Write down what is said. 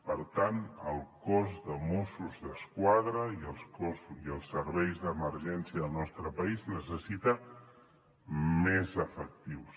per tant el cos de mossos d’esquadra i els serveis d’emergència del nostre país necessiten més efectius